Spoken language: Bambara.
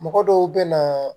Mɔgɔ dɔw bɛ na